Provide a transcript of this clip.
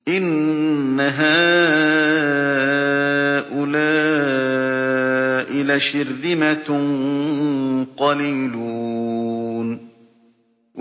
إِنَّ هَٰؤُلَاءِ لَشِرْذِمَةٌ قَلِيلُونَ